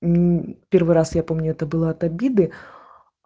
м первый раз я помню это было от обиды